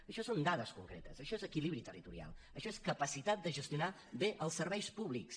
i això són dades concretes això és equilibri territorial això és capacitat de gestionar bé els serveis públics